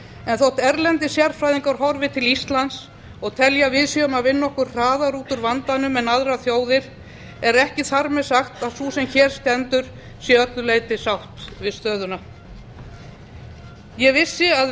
en þótt erlendir sérfræðingar horfi til íslands og telji að við séum að vinna okkur hraðar út úr vandanum en aðrar þjóðir er ekki þar með sagt að sú sem hér stendur sé að öllu leyti sátt við stöðuna ég vissi að